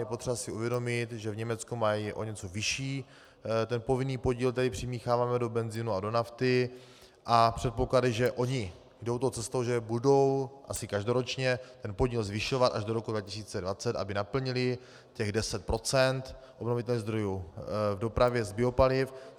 Je potřeba si uvědomit, že v Německu mají o něco vyšší ten povinný podíl, který přimícháváme do benzinu a do nafty, a předpoklady, že oni jdou tou cestou, že budou asi každoročně ten podíl zvyšovat až do roku 2020, aby naplnili těch 10 % obnovitelných zdrojů v dopravě z biopaliv.